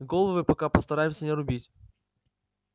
головы пока постараемся не рубить